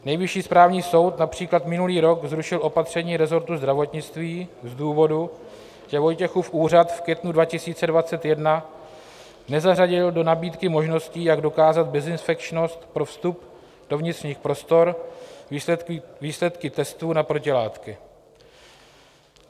Nejvyšší správní soud například minulý rok zrušil opatření resortu zdravotnictví z důvodu, že Vojtěchův úřad v květnu 2021 nezařadil do nabídky možností, jak dokázat bezinfekčnost pro vstup do vnitřních prostor, výsledky testů na protilátky.